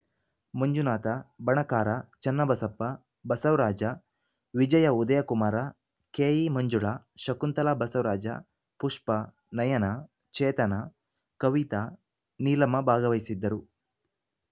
ಮಂಜುನಾಥ ಬಣಕಾರ ಚನ್ನಬಸಪ್ಪ ಬಸವರಾಜ ವಿಜಯ ಉದಯಕುಮಾರ ಕೆಇಮಂಜುಳಾ ಶಕುಂತಲಾ ಬಸವರಾಜ ಪುಷ್ಪಾ ನಯನಾ ಚೇತನಾ ಕವಿತಾ ನೀಲಮ್ಮ ಭಾಗವಹಿಸಿದ್ದರು